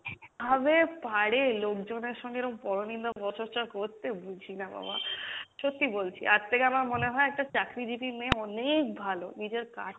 কীভাবে পারে লোকজনের সঙ্গে এরম পরো নিন্দা পরো চর্চা করতে বুঝিনা বাবা সত্যি বলছি তার থেকে আমার মনে হয় একটা চাকরিজীবী মেয়ে অনেক ভালো নিজের কাজ,